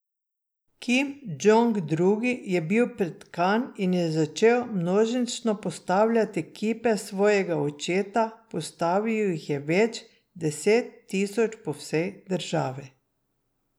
Kim Džong Il je bil pretkan in je začel množično postavljati kipe svojega očeta, postavil jih je več deset tisoč po vsej državi.